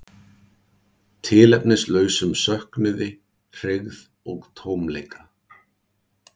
Tilefnislausum söknuði, hryggð og tómleika.